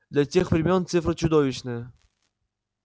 для тех времён цифра чудовищная